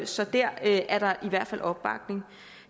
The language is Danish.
så dér er der i hvert fald opbakning